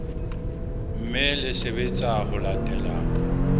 mme le sebetsa ho latela